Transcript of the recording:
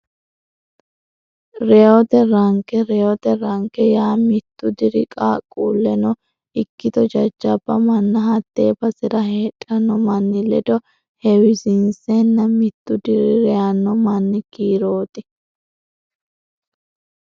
Reyote Ranke Reyote ranke yaa mittu diri qaaqquulleno ikkito jajjabba manna hattee basera heedhanno manni ledo heewisiinsenna mittu diri reyanno manni kiirooti.